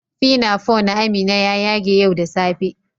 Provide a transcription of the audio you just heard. "Pinafore" na Amina ya ƴage ƴau da safe.